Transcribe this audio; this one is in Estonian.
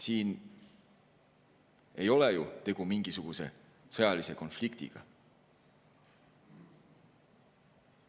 Siin ei ole ju tegu mingisuguse sõjalise konfliktiga.